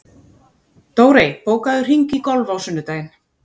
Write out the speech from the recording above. Dórey, bókaðu hring í golf á sunnudaginn.